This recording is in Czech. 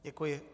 Děkuji.